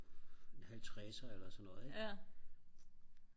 en halvtredser eller sådan noget ikke